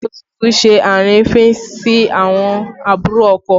Ìyàwó tuntun ṣe àrífín sí àwọn àbúrò ọkọ